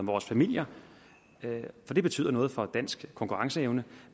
vores familier for det betyder noget for dansk konkurrenceevne